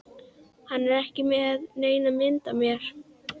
Hann var ekki með neina mynd af mér